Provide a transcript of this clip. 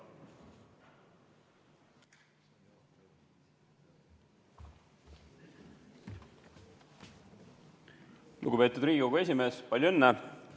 Lugupeetud Riigikogu esimees, palju õnne!